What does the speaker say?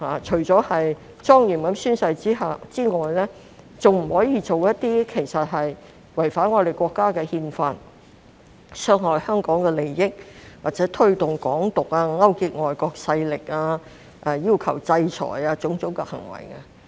除了莊嚴宣誓之外，亦不可以做違反我們國家的憲法、傷害香港的利益或推動"港獨"及勾結外國勢力、要求制裁等行為。